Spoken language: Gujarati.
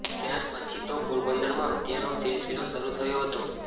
ત્યાર પછી તો પોરબંદરમાં હત્યાનો સીલસીલો શરૂ થયો હતો